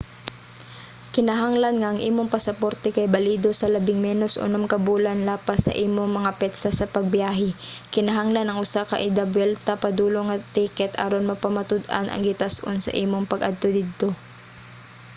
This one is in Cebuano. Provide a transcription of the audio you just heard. kinahanglan nga ang imong pasaporte kay balido sa labing menos unom ka bulan lapas sa imong mga petsa sa pagbiyahe. kinahanglan ang usa ka idabuwelta/padulong nga ticket aron mapamatud-an ang gitas-on sa imong pag adto didto